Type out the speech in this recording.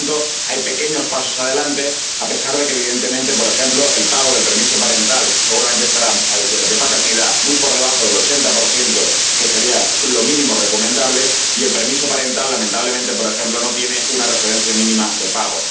Por lo tanto, hay pequeños pasos adelante a pesar de que, evidentemente, por ejemplo, el pago del permiso parental de paternidad seguramente estará muy por debajo del 80 que sería lo mínimo recomendable, y el permiso parental, lamentablemente, por ejemplo, no tiene una referencia mínima de pago.